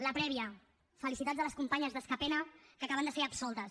la prèvia felicitats a les companyes d’askapena que acaben de ser absoltes